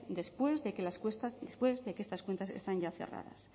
después de que estas cuentas están ya cerradas